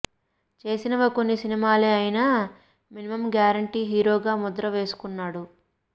చేసినవి కొన్ని సినిమాలే అయినా మినిమమ్ గ్యారెంటీ హీరోగా ముద్ర వేసుకున్నాడు